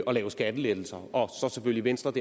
at lave skattelettelser og så selvfølgelig venstres